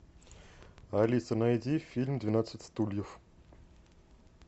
алиса найди фильм двенадцать стульев